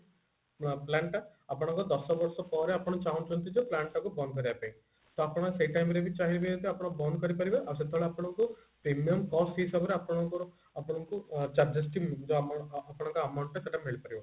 ନୂଆ plan ଟା ଆପଣଙ୍କ ଦଶବର୍ଷ ପରେ ଆପଣ ଚାହୁଞ୍ଚନ୍ତି ଯେ plan ଟା କୁ band କରିବା ପାଇଁ ତ ଆପଣ ସେଇ time ରେ ବି ଚାହିଁବେ ଆପଣ ବନ୍ଦ କରି ପାରିବେ ଆଉ ସେତେବେଳେ ଆପଣଙ୍କୁ premium cost ହିସାବରେ ଆପଣଙ୍କର ଆପଣଙ୍କୁ charges ଟି ଯୋଉ amount ଆପଣଙ୍କର amount ଟା ମିଳିପାରିବ